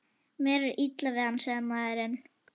Mér er illa við hann, sagði maðurinn.